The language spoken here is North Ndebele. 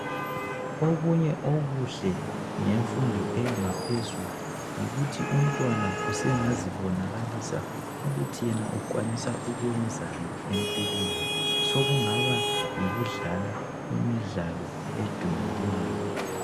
Okunye okuhle ngemfundo eyangaphezulu yikuthi umntwana usengazibonakalisa ukuthi yena ukwanisa ukuyenzani empilweni, sokungaba yikudlala imidlalo edumileyo.